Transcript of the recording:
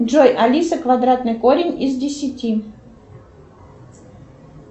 джой алиса квадратный корень из десяти